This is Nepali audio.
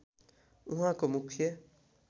उहाँको मुख्य